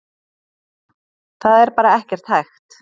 Það er bara ekkert hægt.